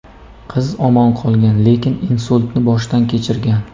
Qiz omon qolgan, lekin insultni boshdan kechirgan.